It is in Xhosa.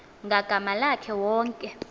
ngagama lakhe wonke